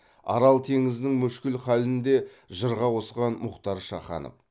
арал теңізінің мүшкіл халін де жырға қосқан мұхтар шаханов